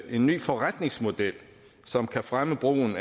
en ny forretningsmodel som kan fremme brugen